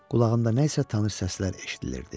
Qulağımda nəsə tanış səslər eşidilirdi.